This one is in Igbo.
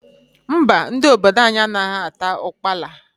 Mba, ndị obodo anyị anaghị ata ukpala.